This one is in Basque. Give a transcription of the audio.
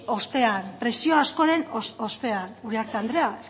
ostean presio askoren ostean uriarte andrea